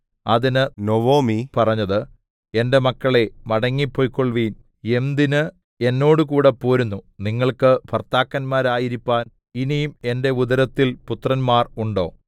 അതിന് നൊവൊമി പറഞ്ഞത് എന്റെ മക്കളേ മടങ്ങിപ്പൊയ്ക്കൊൾവിൻ എന്തിന് എന്നോടുകൂടെ പോരുന്നു നിങ്ങൾക്ക് ഭർത്താക്കന്മാരായിരിപ്പാൻ ഇനി എന്റെ ഉദരത്തിൽ പുത്രന്മാർ ഉണ്ടോ